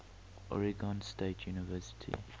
oregon state university